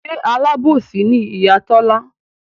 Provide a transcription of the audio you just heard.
Ṣe Alábòsí ni Ìyá Tọ́lá?